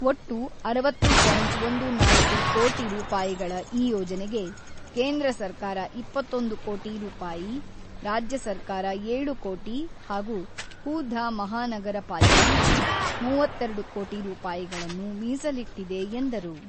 ಒಟ್ಟು ಅರವತ್ತು ಪಾಯಿಂಟ್ ಒಂದು ನಾಲ್ಕು ಕೋಟಿ ರೂಪಾಯಿಗಳ ಈ ಯೋಜನೆಗೆ ಕೇಂದ್ರ ಸರ್ಕಾರ ಇಪ್ಪತ್ತೊಂದು ಕೋಟಿ ರೂಪಾಯಿ, ರಾಜ್ಯ ಸರ್ಕಾರ ಏಳು ಕೋಟಿ ಹಾಗೂ ಹು-ಧಾ ಮಹಾನಗರ ಪಾಲಿಕೆಯು ಮೂವತ್ತೆರಡು ಕೋಟಿ ರೂಪಾಯಿಗಳನ್ನು ಮೀಸಲಿಟ್ಟಿದೆ ಎಂದರು.